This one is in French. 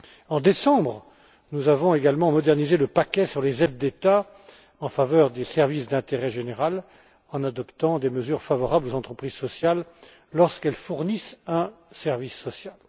En décembre, nous avons également modernisé le paquet sur les aides d'État en faveur des services d'intérêt général en adoptant des mesures favorables aux entreprises sociales lorsqu'elles fournissent un service social.